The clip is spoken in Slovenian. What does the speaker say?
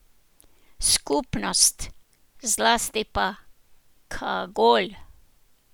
Skupnost, zlasti pa Kagol.